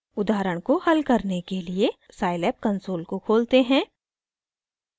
उदाहरण को हल करने के लिए scilab कंसोल को खोलते हैं